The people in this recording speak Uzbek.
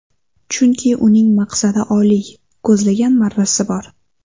Chunki uning maqsadi oliy, ko‘zlagan marrasi bor.